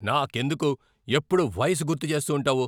నాకెందుకు ఎప్పుడూ వయసు గుర్తు చేస్తూ ఉంటావు?